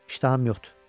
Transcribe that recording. İştaham yoxdur.